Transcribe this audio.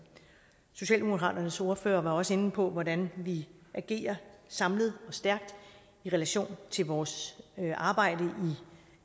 socialdemokraternes ordfører var også inde på hvordan vi agerer samlet og stærkt i relation til vores arbejde